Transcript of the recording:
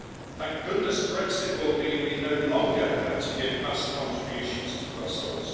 Thank goodness Brexit will mean we no longer have to give vast contributions to Brussels.